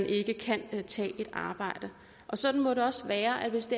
ikke kan tage et arbejde og sådan må det også være hvis